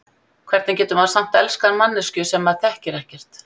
Hvernig getur maður samt elskað manneskju sem maður þekkir ekkert?